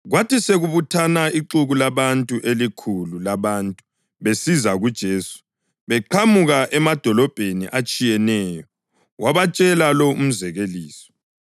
Kwathi sekubuthana ixuku labantu elikhulu labantu besiza kuJesu beqhamuka emadolobheni atshiyeneyo wabatshela lo umzekeliso: